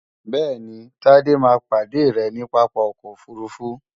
bẹ́ẹ̀ni, Tádé máa pàdé rẹ ní Pápá ọkọ̀ òfurufú